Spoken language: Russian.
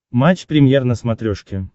матч премьер на смотрешке